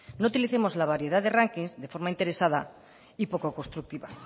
no utilicemos la variedad de rankings de forma interesada y poco constructiva